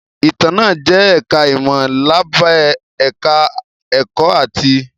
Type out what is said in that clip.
Ìtàn náà jẹ́ ẹ̀ká ìmọ̀ lábẹ́ ẹ̀ká ẹ̀kọ́ áàtì